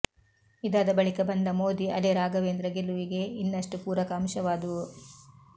ಇದಾದ ಬಳಿಕ ಬಂದ ಮೋದಿ ಅಲೆ ರಾಘವೇಂದ್ರ ಗೆಲುವಿಗೆ ಇನ್ನಷ್ಟು ಪೂರಕ ಅಂಶವಾದವು